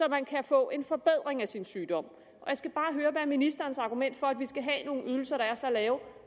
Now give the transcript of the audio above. at man kan få en forbedring af sin sygdom jeg skal bare høre hvad er ministerens argument for at vi skal have nogle ydelser der er så lave